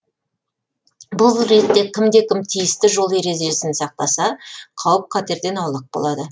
бұл ретте кімде кім тиісті жол ережесін сақтаса қауіп қатерден аулақ болады